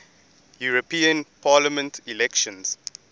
european parliament elections